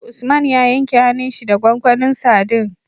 Usman ya yanke hanun shi da gwangwanin sadin